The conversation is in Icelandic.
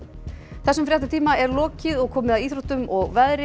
þessum fréttatíma er lokið og komið að íþróttum og veðri